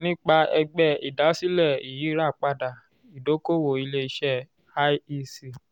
nípa ẹgbẹ́ ìdásílẹ̀ iyirapada idokowo ile ise(iec)